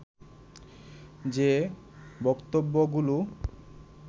যে বক্তব্যগুলো